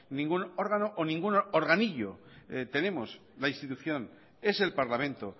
ningún órgano o ningún organillo tenemos la institución es el parlamento